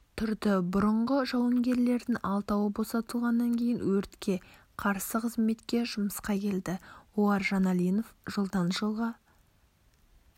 тұрды бұрынғы жауынгерлердің алтауы босатылғаннан кейін өртке қарсы қызметке жұмысқа келді олар жаналинов жылдан жылға